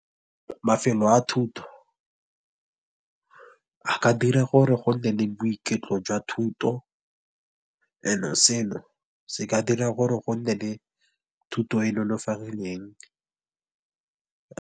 Mafelo a thuto a ka dira gore go nne le boiketlo jwa thuto, and-e seno se ka dira gore go nne le thuto e .